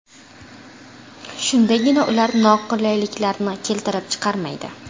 Shundagina ular noqulayliklarni keltirib chiqarmaydi.